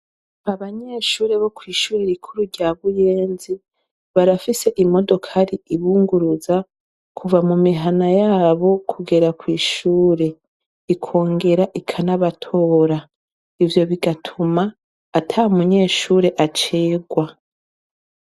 Abanyeshure bo kw'ishure rikuru rya Buyenzi, barafise imodokari ibunguruza, kuva mu mihana y'abo kugera kw'ishure, ikongera ikanabatora. Ivyo bigatuma atamunyeshure acererwa.